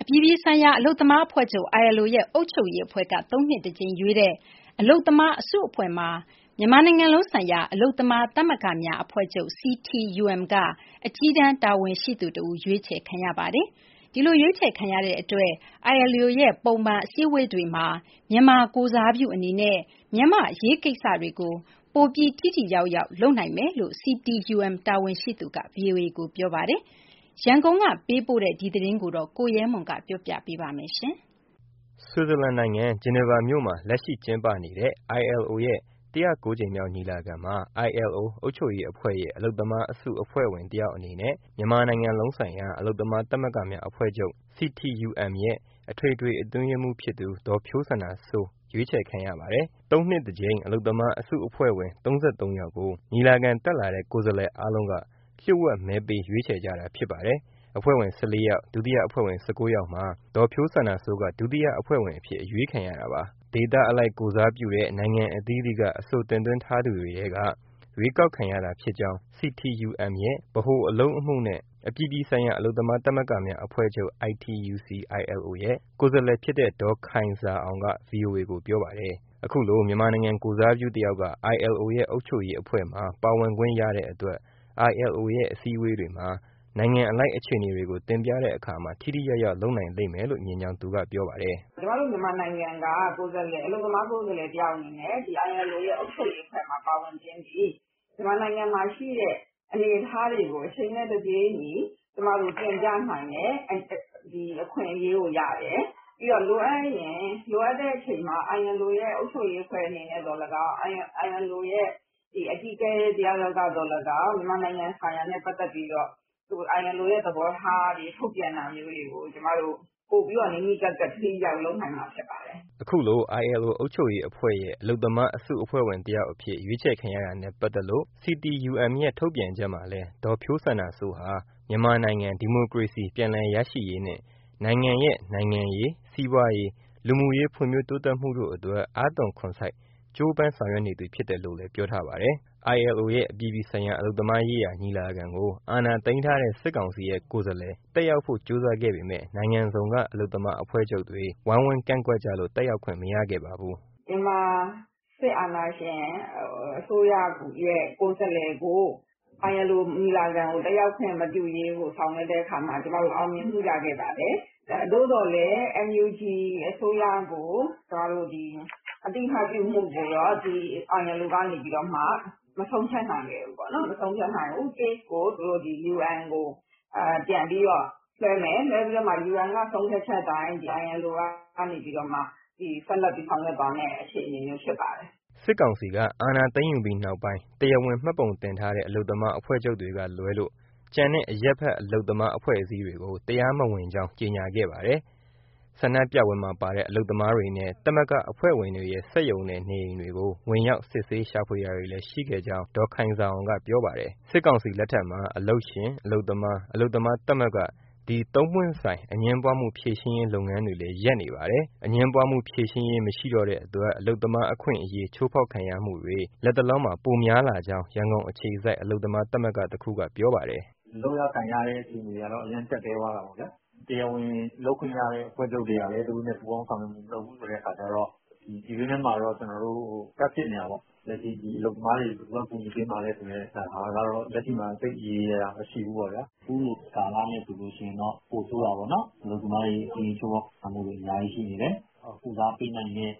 အပြည်ပြည်ဆိုင်ရာ အလုပ်သမားအဖွဲ့ချုပ် - ILO ရဲ့ အုပ်ချုပ်ရေးအဖွဲ့ က သုံးနှစ်တကြိမ်ရွေးချယ်တဲ့ အလုပ်သမားအစုအဖွဲ့မှာ မြန်မာနိုင်ငံလုံးဆိုင်ရာ အလုပ်သမားသမဂ္ဂများအဖွဲ့ချုပ် CTUM ကအကြီးတန်းတာဝန်ရှိသူတဦး ရွေးချယ်ခံရပါတယ်။ ဒီလိုရွေးချယ်ခံရတဲ့အတွက် ILO ရဲ့ ပုံမှန်အစည်းအဝေးတွေမှာ မြန်မာကိုယ်စားပြုအနေနဲ့ မြန်မာ့အရေးကိစ္စတွေကို ပိုပြီးထိထိရောက်ရောက် လုပ်နိုင်လိမ့်မယ်လို့ CTUM တာဝန်ရှိသူက ဗွီအိုအေကိုပြောပါတယ်။ ရန်ကုန်က ပေးပို့တဲ့ ဒီသတင်း အပြည့်အစုံကိုတော့ ရဲမွန် က ပြောပြပေးမှာပါ။ Switzerland နိုင်ငံ Geneva မြို့မှာ လက်ရှိကျင်းပနေတဲ့ ILO ရဲ့ ကြိမ်မြောက်ညီလာခံမှာ ILO အုပ်ချုပ်ရေးအဖွဲ့ရဲ့ အလုပ်သမားအစုအဖွဲ့ဝင်တယောက်အနေနဲ့ မြန်မာနိုင်ငံလုံးဆိုင်ရာ အလုပ်သမားသမဂ္ဂများအဖွဲ့ချုပ် CTUM ရဲ့ အထွေထွေအတွင်းရေးမှူးဖြစ်သူ ဒေါ်ဖြိုးစန္ဒာစိုး ရွေးချယ်ခံရပါတယ်။ ၃ နှစ်တကြိမ် အလုပ်သမားအစုအဖွဲ့ဝင် ၃၃ ယောက်ကို ညီလာခံတက်လာတဲ့ ကိုယ်စားလှယ်အားလုံးက လျှို့ဝှက် မဲပေးရွေးချယ်ကြတာဖြစ်ပါတယ်။ အဖွဲ့ဝင် ၁၄ ယောက်၊ ဒုတိယအဖွဲ့ဝင် ၁၉ ယောက်မှာ ဒေါ်ဖြိုးစန္ဒာစိုးက ဒုတိယအဖွဲ့ဝင်အဖြစ် အရွေးခံရတာပါ။ ဒေသအလိုက် ကိုယ်စားပြုတဲ့ နိုင်ငံအသီးသီးက အဆိုတင်သွင်းထားသူတွေထဲက ရွေးကောက်ခံရတာဖြစ်ကြောင်း CTUM ရဲ့ ဗဟိုအလုပ်အမှုနဲ့ အပြည်ပြည်ဆိုင်ရာ အလုပ်သမားသမဂ္ဂများ အဖွဲ့ချုပ် ITUC ရဲ့ ကိုယ်စားလှယ်ဖြစ်တဲ့ ဒေါ်ခိုင်ဇာအောင်က ဗွီအိုအေကို ပြောပါတယ်။ အခုလို မြန်မာနိုင်ငံ ကိုယ်စားပြု တယောက်က ILO ရဲ့ အုပ်ချုပ်ရေးအဖွဲ့မှာ ပါဝင်ခွင့်ရတဲ့အတွက် ILO ရဲ့အစည်းအဝေးတွေမှာ နိုင်ငံအလိုက် အခြေအနေတွေကို တင်ပြတဲ့ အခါမှာ ထိထိရောက်ရောက် လုပ်နိုင်လိမ့်မယ်လို့ မြင်ကြောင်းသူကပြောပါတယ်။ “ ကျမတို့ မြန်မာနိုင်ငံက အလုပ်သမားကိုယ်စားလှယ် တယောက်အနေနဲ့ ILO ရဲ့ အုပ်ချုပ်ရေးအဖွဲ့မှာ ပါဝင်ခြင်းသည် မြန်မာနိုင်ငံမှာရှိတဲ့ အနေအထားတွေကို အချိန်နဲ့ တပြေးညီ ကျမတို့ တင်ပြနိုင်တဲ့ အခွင့်အရေးကိုရတယ်။ ပြီးရင် လိုအပ်ရင် လိုအပ်တဲ့အချိန်မှာ ILO ရဲ့ အုပ်ချုပ်ရေးအဖွဲ့အနေနဲ့ သော်လည်းကောင်း၊ ILO ရဲ့ အကြီးအကဲ တယောက်ယောက်က သော်လည်းကောင်း မြန်မာနိုင်ငံဆိုင်ရာနဲ့ ပတ်သက်ပြီးတော့ ILO ရဲ့ သဘောထားတွေ ထုတ်ပြန်တာမျိုးတွေကို ပိုပြီးတော့ နီးနီးကပ်ကပ် ထိထိရောက်ရောက် လုပ်နိုင်မှာ ဖြစ်ပါတယ်။” ခုလို ILO အုပ်ချုပ်ရေးအဖွဲ့ရဲ့ အလုပ်သမားအစုအဖွဲ့ဝင်တယောက်အဖြစ် ရွေးချယ်ခံရတာနဲ့ပါတ်သက်လို့ CTUM ရဲ့ ထုတ်ပြန်ချက်မှာလည်း ဒေါ်ဖြိုးစန္ဒာစိုးဟာ မြန်မာနိုင် ဒီမိုကရေစီပြန်လည်ရရှိရေးနှင့် နိုင်ငံရဲ့ နိုင်ငံရေး၊ စီးပွားရေး၊ လူမှုရေးဖွံ့ဖြိုးတိုးတက်မှုတို့အတွက် အားသွန်ခွန်စိုက် ကြိုးပမ်းဆောင်ရွက်နေသူ ဖြစ်တယ်လို့ပြောထားပါတယ်။ ILO ရဲ့အပြည်ပြည်ဆိုင်ရာ အလုပ်သမားရေးရာ ညီလာခံကို အာဏာသိမ်းထားတဲ့ စစ်ကောင်စီရဲ့ ကိုယ်စားလှယ် တက်ရောက်ဖို့ ကြိုးစားခဲ့ပေမဲ့ နိုင်ငံစုံက အလုပ်သမား အဖွဲ့ချုပ်တွေ ဝိုင်းဝန်းကန့်ကွက် ကြလို့ တက်ရောက်ခွင့် မရခဲ့ပါဘူး။ “မြန်မာ စစ်အာဏာရှင် အစိုးရရဲ့ ကိုယ်စားလှယ်ကို ILO ညီလာခံကို တက်ရောက်ခွင့် မပြုရေးကို ဆောင်ရွက်တဲ့အခါမှာ ကျမတို့ အောင်မြင်မှု ရခဲ့ပါတယ်။ သို့သော်လည်း NUG အစိုးရကို အသိအမှတ်ပြုမှုကိုတော့ ILO ကနေပြီးတော့မှ မဆုံးဖြတ်နိုင်ခဲ့ဘူးပေါ့နော်။ Case ကို သူတို့ UN ကို ပြန်ပြီးတော့ လွှဲမယ်၊ လွှဲပြီး UN က ဆုံးဖြတ်ချက် အတိုင်း ILO ကနေ ဆက်လက်ပြီး ဆောင်ရွက်သွားမယ့် အခြေအနေမျိုး ဖြစ်ပါတယ်။” စစ်ကောင်စီက အာဏာသိမ်းယူပြီးနောက်ပိုင်း တရားဝင်မှတ်ပုံတင်ထားတဲ့ အလုပ်သမား အဖွဲ့ချုပ်တွေကလွဲလို့ ကျန်တဲ့အရပ်ဘက် အလုပ်သမား အဖွဲ့အစည်းတွေကို တရားမဝင်ကြောင်း ကြေညာခဲ့ပါတယ်။ ဆန္ဒပြပွဲမှာပါတဲ့ အလုပ်သမားတွေနဲ့ သမဂ္ဂအဖွဲ့ဝင်တွေရဲ့ စက်ရုံနဲ့ နေအိမ်တွေကို ဝင်ရောက်စစ်ဆေး ရှာဖွေတာတွေလည်း ရှိခဲ့ကြောင်း ဒေါ်ခိုင်ဇာအောင်က ပြောပါတယ်။ စစ်ကောင်စီလက်ထက်မှာ အလုပ်ရှင်၊ အလုပ်သမား၊ အလုပ်သမားသမဂ္ဂ ဒီသုံးပွင့်ဆိုင် အငြင်းပွားမှု ဖြေရှင်းရေး လုပ်ငန်းတွေလဲ ရပ်နေပါတယ်။ အငြင်းပွားမှု ဖြေရှင်းရေး မရှိတော့တဲ့အတွက် အလုပ်သမားအခွင့်အရေး ချိုးဖောက်ခံရမှုတွေ လက်တလောမှာ ပိုများလာကြောင်း ရန်ကုန်အခြေစိုက် အလုပ်သမားသမဂ္ဂတခုက ပြောပါတယ်။ “လုပ်ရ၊ ကိုင်ရတဲ့ အခြေအနေကတော့ လုံးဝ ကျပ်တည်းသွားတာပေါ့ ဗျာ။ တရားဝင်လုပ်ခွင့်ရတဲ့ အဖွဲ့ချုပ်တွေကလည်း သူတို့နဲ့ ပူးပေါင်းဆောင်ရွက်မှု မလုပ်ဘူးဆိုတဲ့ အခါကျတော့ ပြည်တွင်းထဲမှာတော့ ကျနော်တို့ gap ဖြစ်နေတာပေါ့။ လက်ရှိ အလုပ်သမားတွေကို ဘယ်သူက ကူညီပေးမှာလဲ ဆိုတဲ့ဟာကတော့ လက်ရှိမှာ သိပ်ရေရေရာရာ မရှိဘူးပေါ့ဗျာ။ အခုလိုကာလနဲ့ ဆိုရင်တော့ ပိုဆိုးတာပေါ့နော်။ အလုပ်သမားတွေ အခွင့်အရေး ချိုးဖောက်ခံရမှုတွေ အများကြီးရှိနေတယ်။ ကုစားပေးနိုင်တဲ့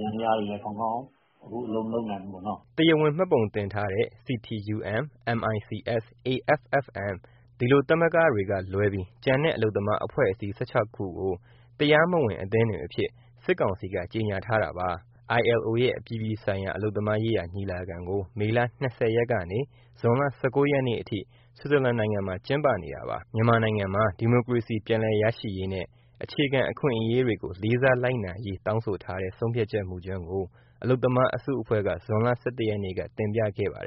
ယန္တရားတွေလည်း ကောင်းကောင်း အလုပ်မလုပ်နိုင်ဘူးပေါ့နော်။” တရားဝင်မှတ်ပုံတင်ထားတဲ့ CTUM၊ MICS၊ AFFM ဒီလို သမဂ္ဂတွေကလွဲပြီး ကျန်တဲ့ အလုပ်သမားအဖွဲ့အစည်း ၁၆ ခုကို တရားမဝင် အသင်းတွေအဖြစ် စစ်ကောင်စီက ကြေညာထားတာပါ။ ILO ရဲ့ အပြည်ပြည်ဆိုင်ရာ အလုပ်သမားရေးရာညီလာခံကို မေလ ၂၀ ရက်ကနေ ဇွန်လ ၁၉ ရက်အထိ Switzerland နိုင်ငံမှာ ကျင်းပနေပါတယ်။ မြန်မာနိုင်ငံမှာ ဒီမိုကရေစီ ပြန်လည်ရရှိရေးနဲ့ အခြေခံအခွင့်အရေးတွေကို လေးစားလိုက်နာရေး တောင်းဆိုထားတဲ့ ဆုံးဖြတ်ချက်မူကြမ်းကို အလုပ်သမားအစုအဖွဲ့က ဇွန်လ ၁၁ ရက်နေ့က တင်ပြခဲ့ပါတယ်